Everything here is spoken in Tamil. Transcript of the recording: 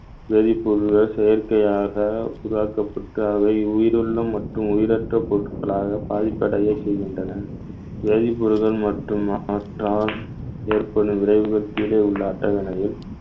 வேதிப்பொருள்கள் செயற்கையாக உருவாக்கப்பட்டு அவை உயிருள்ளம் மற்றும் உயிரற்ற பொருட்களாக பாதிப்படைய செய்கின்றன வேதிப்பொருட்கள் மற்றும் மாற்றால் ஏற்படும் விளைவுகளுக்கு கீழே உள்ள அட்டவணையில்